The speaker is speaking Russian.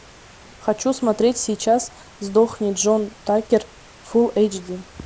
хочу смотреть сейчас сдохни джон такер фул эйч ди